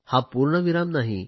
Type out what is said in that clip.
हा पूर्णविराम नाही